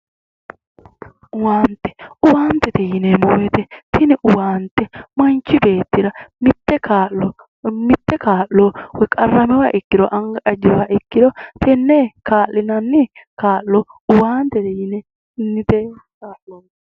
Owaante. Owaantete yineemmo woyite tini owaante manchi beettira mitte kaa'lo woyi qarramiwoha ikkiro anga ajjiwoha ikkiro tenne kaa'linanni kaa'lo owaantete yinanni kaa'looti.